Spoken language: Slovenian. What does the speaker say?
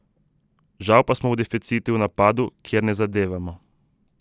Žal pa smo v deficitu v napadu, kjer ne zadevamo.